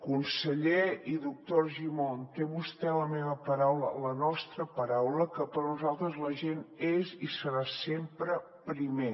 conseller i doctor argimon té vostè la meva paraula la nostra paraula que per a nosaltres la gent és i serà sempre primer